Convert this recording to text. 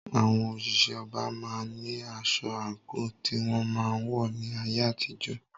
Àwọn òṣìṣẹ́ ọba máa ń ní aṣọ/àǹkò tí wọ́n máa ń wọ̀ ní ayé àtijó.